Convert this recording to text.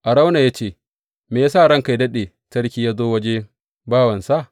Arauna ya ce, Me ya sa ranka yă daɗe, sarki ya zo wajen bawansa?